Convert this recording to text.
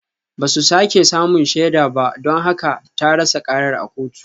Ba su sake samun shaidar ba don haka ta rasa karar a kotu